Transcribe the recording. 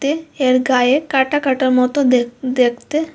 এর গায়ে কাঁটা কাঁটা মতো দেখ-দেখতে।